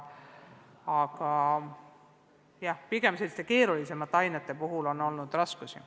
Aga jah, pigem selliste keerulisemate ainete puhul on olnud raskusi.